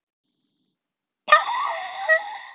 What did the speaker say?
Það er stór stund þegar hún nefnir nafnið hans.